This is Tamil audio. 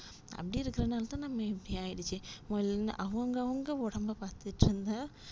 அப்டி இருக்குறனாலத்தான் நம்ம இப்டி ஆய்டுச்சு மொதல்ல அவங்கவங்க ஒடம்ப பாத்துக்கோங்க.